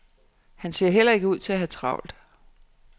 Han ser heller ikke ud til at have travlt.